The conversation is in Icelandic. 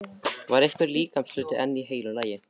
Var einhver líkamshluti enn í heilu lagi?